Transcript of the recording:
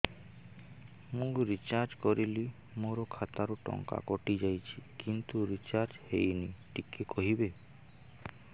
ମୁ ରିଚାର୍ଜ କରିଲି ମୋର ଖାତା ରୁ ଟଙ୍କା କଟି ଯାଇଛି କିନ୍ତୁ ରିଚାର୍ଜ ହେଇନି ଟିକେ କହିବେ